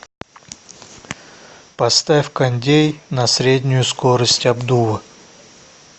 поставь кондей на среднюю скорость обдува